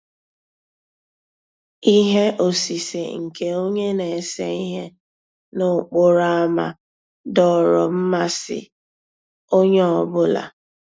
Íhé òsìsé nkè ónyé ná-èsé íhé n'òkpòró ámá dòọ́rọ́ mmàsí ónyé ọ́ bụ́là.